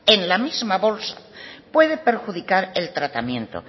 en la misma bolsa puede perjudicar el tratamiento